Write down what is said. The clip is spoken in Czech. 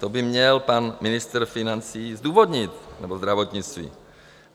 To by měl pan ministr financí zdůvodnit, nebo zdravotnictví.